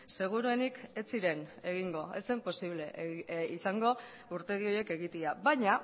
seguruenik ez ziren egingo ez zen posible izango urtegi horiek egitea baina